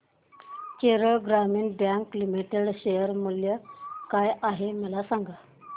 केरळ ग्रामीण bank limited share मूल्य काय आहे मला सांगा